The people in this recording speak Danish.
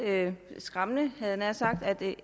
skræmmende jeg nær sagt at